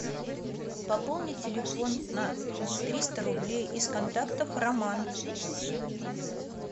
пополнить телефон на триста рублей из контактов роман